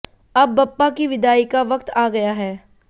अब बप्पा की विदाई का वक्त आ गया है